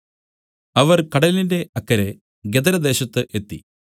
അവർ കടലിന്റെ അക്കരെ ഗദരദേശത്ത് എത്തി